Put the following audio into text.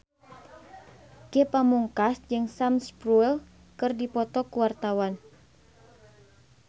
Ge Pamungkas jeung Sam Spruell keur dipoto ku wartawan